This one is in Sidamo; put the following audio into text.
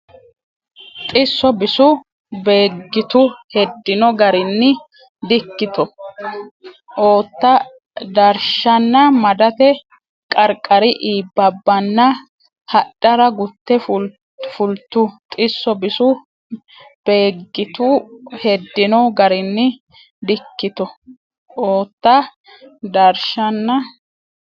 Xisso bisu Beeggitu heddino garinni Dikito oota darshanna madate qarqari iibbabbanna hadhara gutte fultu Xisso bisu Beeggitu heddino garinni Dikito oota darshanna.